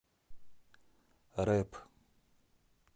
рэп